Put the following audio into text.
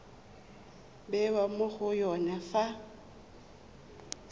bewa mo go yone fa